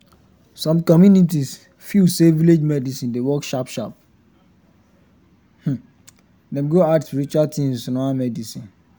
some communities feel say village medicine dey work sharp sharp dem go add spiritual things to normal medicine